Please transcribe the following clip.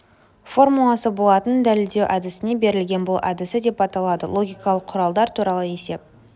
формуласы болатынын дәлелдеу әдісіне берілген бұл әдісі деп аталады логикалық құралдар туралы есеп